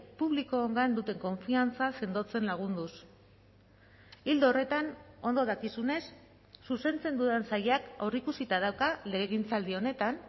publikoongan duten konfiantza sendotzen lagunduz ildo horretan ondo dakizunez zuzentzen dudan sailak aurreikusita dauka legegintzaldi honetan